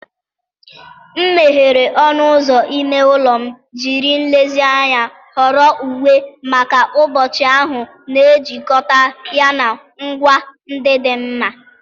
M meghere ọnụ ụzọ ime ụlọ, jiri nlezianya họrọ uwe maka ụbọchị ahụ, na-ejikọta ya na ngwa ndị dị mma.